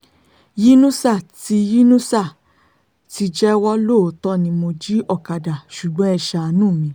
yínusà ti yínusà ti jẹ́wọ́ lóòótọ́ ni mo jí ọ̀kadà ṣùgbọ́n ẹ ṣàánú mi